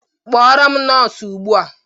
Kpọrọ m nọọsụ ugbua!